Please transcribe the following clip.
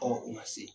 Ɔ u ma se